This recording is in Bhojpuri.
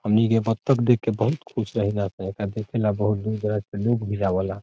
हमनी के बत्तख़ देख के बहुत खुश रहिला एकरा देखेला बहुत दूर दराज़ से लोग भी आवेला।